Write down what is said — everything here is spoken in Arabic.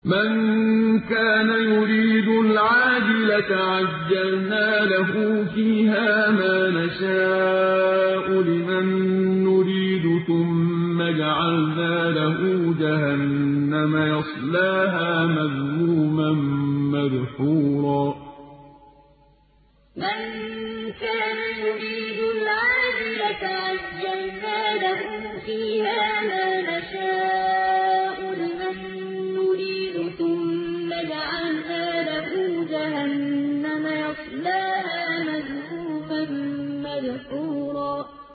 مَّن كَانَ يُرِيدُ الْعَاجِلَةَ عَجَّلْنَا لَهُ فِيهَا مَا نَشَاءُ لِمَن نُّرِيدُ ثُمَّ جَعَلْنَا لَهُ جَهَنَّمَ يَصْلَاهَا مَذْمُومًا مَّدْحُورًا مَّن كَانَ يُرِيدُ الْعَاجِلَةَ عَجَّلْنَا لَهُ فِيهَا مَا نَشَاءُ لِمَن نُّرِيدُ ثُمَّ جَعَلْنَا لَهُ جَهَنَّمَ يَصْلَاهَا مَذْمُومًا مَّدْحُورًا